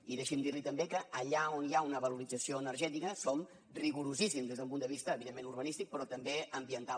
i deixi’m dir li també que allà on hi ha una valorització energètica som rigorosíssims des d’un punt de vista evidentment urbanístic però també ambiental